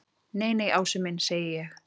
Nei, nei, Ási minn segi ég.